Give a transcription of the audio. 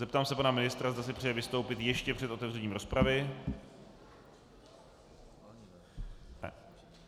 Zeptám se pana ministra, zda si přeje vystoupit ještě před otevřením rozpravy.